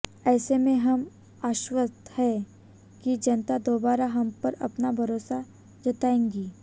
ऐसे में हम आश्वस्त हैं कि जनता दोबारा हम पर अपना भरोसा जताएगी